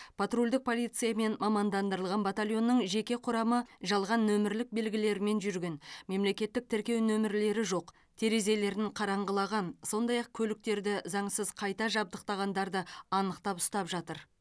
патрульдік полиция мен мамандандырылған батальонның жеке құрамы жалған нөмірлік белгілермен жүрген мемлекеттік тіркеу нөмірлері жоқ терезелерін қараңғылаған сондай ақ көліктерді заңсыз қайта жабдықтағандарды анықтап ұстап жатыр